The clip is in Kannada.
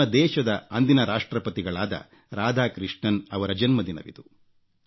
ನಮ್ಮ ದೇಶದ ಅಂದಿನ ರಾಷ್ಟ್ರಪತಿಗಳಾದ ರಾಧಾಕೃಷ್ಣನ್ ಅವರ ಜನ್ಮದಿನವಿದು